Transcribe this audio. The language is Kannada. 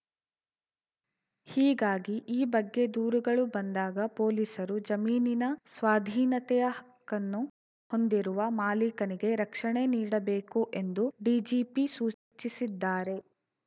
ಹೀಗಾಗಿ ಈ ಬಗ್ಗೆ ದೂರುಗಳು ಬಂದಾಗ ಪೊಲೀಸರು ಜಮೀನಿನ ಸ್ವಾಧೀನತೆಯ ಹಕ್ಕನ್ನು ಹೊಂದಿರುವ ಮಾಲಿಕನಿಗೇ ರಕ್ಷಣೆ ನೀಡಬೇಕು ಎಂದು ಡಿಜಿಪಿ ಸೂಚಿಸಿದ್ದಾರೆ